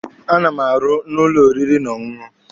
A na m arụ n'ụlọ oriri na ọṅụṅụ.